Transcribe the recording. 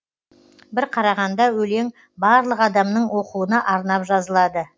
бір қарағанда өлең барлық адамның оқуына арнап жазылады